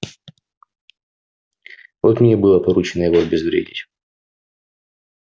вот мне и было поручено его обезвредить